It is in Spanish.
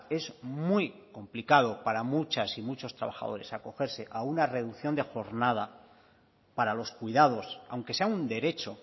es muy complicado para muchas y muchos trabajadores acogerse a una reducción de jornada para los cuidados aunque sea un derecho